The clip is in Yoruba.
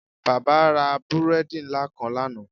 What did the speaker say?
Baba ra búredì nla kan lana.